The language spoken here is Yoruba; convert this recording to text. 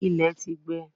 Ilẹ̀ ti gbẹ.